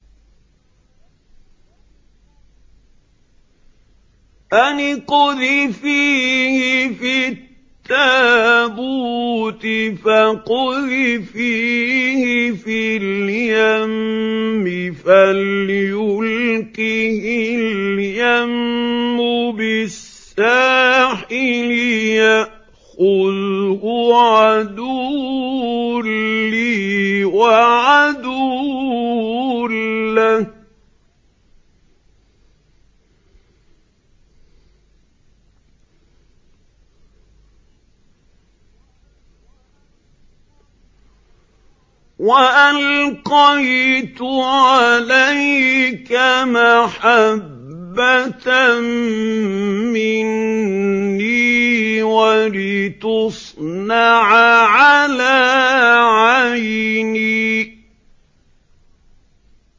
أَنِ اقْذِفِيهِ فِي التَّابُوتِ فَاقْذِفِيهِ فِي الْيَمِّ فَلْيُلْقِهِ الْيَمُّ بِالسَّاحِلِ يَأْخُذْهُ عَدُوٌّ لِّي وَعَدُوٌّ لَّهُ ۚ وَأَلْقَيْتُ عَلَيْكَ مَحَبَّةً مِّنِّي وَلِتُصْنَعَ عَلَىٰ عَيْنِي